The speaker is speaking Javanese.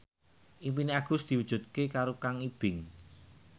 impine Agus diwujudke karo Kang Ibing